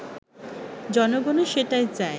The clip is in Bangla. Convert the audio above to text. জনগণও সেটাই চায়